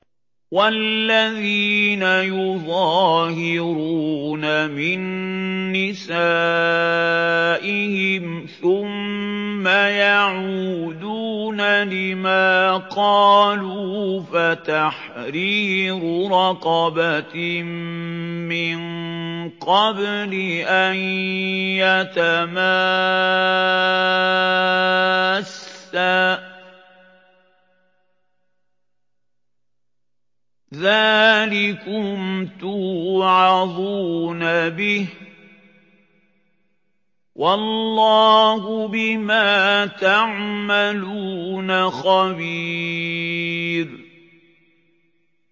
وَالَّذِينَ يُظَاهِرُونَ مِن نِّسَائِهِمْ ثُمَّ يَعُودُونَ لِمَا قَالُوا فَتَحْرِيرُ رَقَبَةٍ مِّن قَبْلِ أَن يَتَمَاسَّا ۚ ذَٰلِكُمْ تُوعَظُونَ بِهِ ۚ وَاللَّهُ بِمَا تَعْمَلُونَ خَبِيرٌ